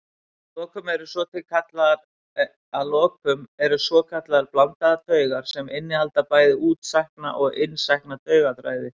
Að lokum eru til svokallaðar blandaðar taugar sem innihalda bæði útsækna og innsækna taugaþræði.